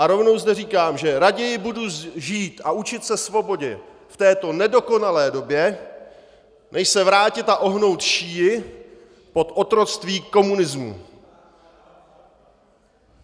A rovnou zde říkám, že raději budu žít a učit se svobodě v této nedokonalé době, než se vrátit a ohnout šíji pod otroctví komunismu!